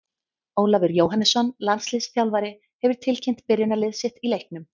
Ólafur Jóhannesson, landsliðsþjálfari, hefur tilkynnt byrjunarlið sitt í leiknum.